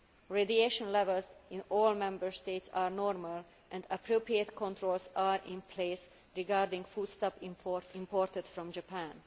Radiation levels in all Member States are normal and appropriate controls are in place regarding foodstuffs imported from Japan.